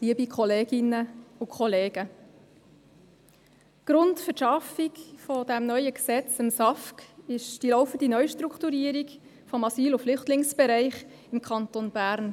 Wie Sie wissen, ist der Grund für die Schaffung dieses neuen Gesetzes, des SAFG, die laufende Neustrukturierung des Asyl- und Flüchtlingsbereichs im Kanton Bern.